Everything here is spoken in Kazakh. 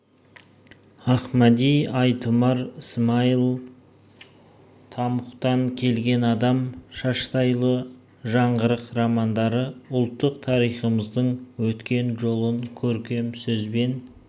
ахмади айтұмар смайыл тамұқтан келген адам шаштайұлы жаңғырық романдары ұлттық тарихымыздың өткен жолын көркем сөзбен